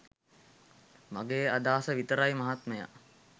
මගෙ අදහස විතරයි මහත්මයා